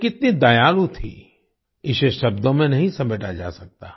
वे कितनी दयालु थीं इसे शब्दों में नहीं समेटा जा सकता